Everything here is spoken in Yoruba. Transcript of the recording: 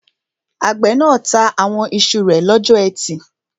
Àgbẹ̀ náà ta àwọn iṣu rẹ̀ lọ́jọ́ ẹtì